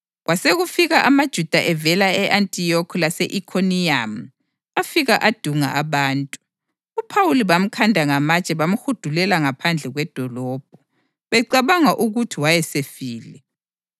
Kwasekufika amaJuda evela e-Antiyokhi lase-Ikhoniyamu afika adunga abantu. UPhawuli bamkhanda ngamatshe bamhudulela ngaphandle kwedolobho, becabanga ukuthi wayesefile.